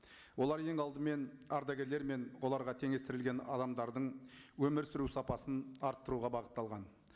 олар ең алдымен ардагерлер мен оларға теңестірілген адамдардың өмір сүру сапасын арттыруға бағытталған